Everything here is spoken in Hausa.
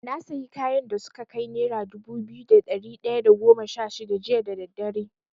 Na sayi kayan da suka kai nera dubu biyu da ɗari ɗaya da goma sha shida jiya da daddare.